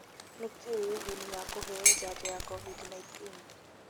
Nĩkĩ ũguni wa kũheo njanjo ya Covid-19?